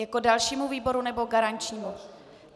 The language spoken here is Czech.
Jako dalšímu výboru, nebo garančnímu?